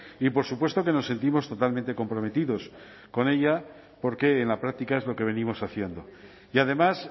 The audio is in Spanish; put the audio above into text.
y por supuesto que nos sentimos totalmente comprometidos con ella porque en la práctica es lo que venimos haciendo y además